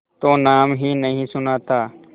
तो नाम ही नहीं सुना था